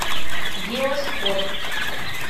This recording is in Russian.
геоспорт